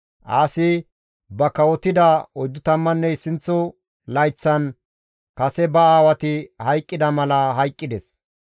Aasi ba kawotida 41 layththan kase ba aawati hayqqida mala hayqqides.